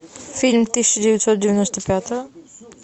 фильм тысяча девятьсот девяносто пятого